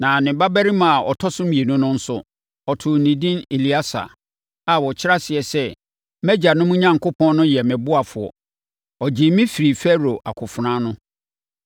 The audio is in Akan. Na ne babarima a ɔtɔ so mmienu no nso, ɔtoo ne edin Elieser a ɔkyerɛ aseɛ sɛ “Mʼagyanom Onyankopɔn no yɛ me ɔboafoɔ. Ɔgyee me firii Farao akofena ano.”